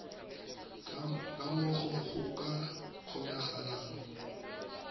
ka moo go ka kgonagalang